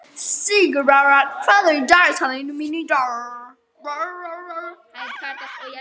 Sigurbára, hvað er í dagatalinu mínu í dag?